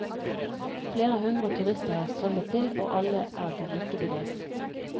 Flere hundre turister har strømmet til og alle er de like begeistret.